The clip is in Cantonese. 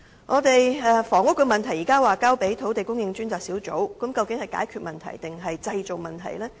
至於房屋問題，現時交給了土地供應專責小組處理，但究竟這是解決問題還是製造問題？